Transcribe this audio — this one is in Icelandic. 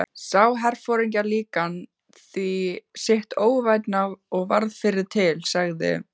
Sá herforingjaklíkan því sitt óvænna og varð fyrri til, sagði